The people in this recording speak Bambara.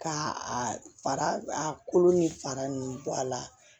Ka a fara a kolo ni fara ninnu bɔ a la